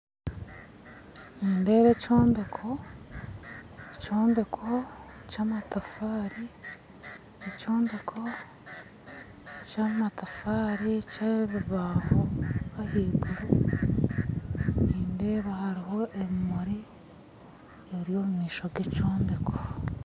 Nindeeba ekyombeko, ekyombeko ky'amataafari eky'ebibaho ahaiguru nindeeba hariho ebimuri ebiri omumaisho g'ekyombeko